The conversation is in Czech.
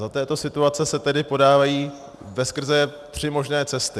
Za této situace se tedy podávají veskrze tři možné cesty.